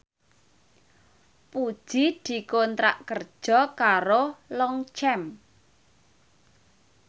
Puji dikontrak kerja karo Longchamp